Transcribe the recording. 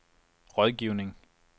rådgivning